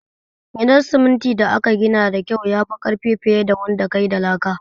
Gidan siminti da aka gina da kyau yafi ƙarfi fiye da wanda kayi da laka